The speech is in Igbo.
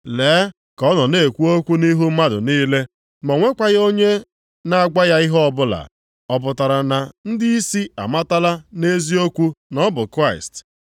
Lee ka ọ nọ na-ekwu okwu nʼihu mmadụ niile ma o nwekwaghị onye na-agwa ya ihe ọbụla. Ọ pụtara na ndịisi amatala nʼeziokwu na ọ bụ Kraịst?